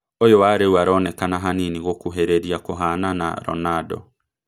Ũyũ wa rĩu ũronekana hanini gũkũhĩrĩria kũhana na Ronaldo